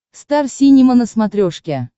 стар синема на смотрешке